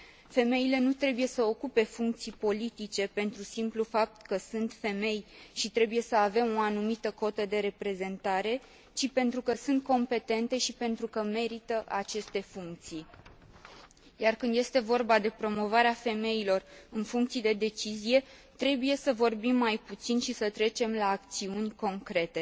femeile nu trebuie să ocupe funcții politice pentru simplul fapt că sunt femei și trebuie să avem o anumită cotă de reprezentare, ci pentru că sunt competente și pentru că merită aceste funcții, iar când este vorba de promovarea femeilor în funcții de decizie, trebuie să vorbim mai puțin și să trecem la acțiuni concrete.